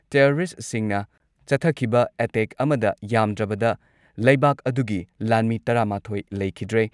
ꯇꯦꯔꯣꯔꯤꯁꯠꯁꯤꯡꯅ ꯆꯠꯊꯈꯤꯕ ꯑꯦꯇꯦꯛ ꯑꯃꯗ ꯌꯥꯝꯗ꯭ꯔꯕꯗ ꯂꯩꯕꯥꯛ ꯑꯗꯨꯒꯤ ꯂꯥꯟꯃꯤ ꯇꯔꯥꯃꯥꯊꯣꯏ ꯂꯩꯈꯤꯗ꯭ꯔꯦ꯫